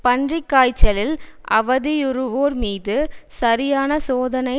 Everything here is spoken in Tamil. பன்றி காய்ச்சலில் அவதியுறுவோர் மீது சரியான சோதனை